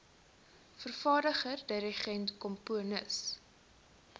vervaardiger dirigent komponis